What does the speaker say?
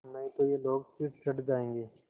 नहीं तो ये लोग सिर चढ़ जाऐंगे